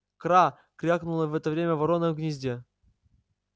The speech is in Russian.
кра крикнула в это время ворона в гнезде